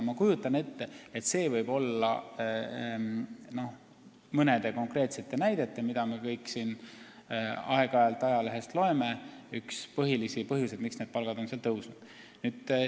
Ma kujutan ette, et see võib olla mõne konkreetse näite puhul, mille kohta me kõik aeg-ajalt ajalehest loeme, üks põhilisi põhjuseid, miks seal on need palgad tõusnud.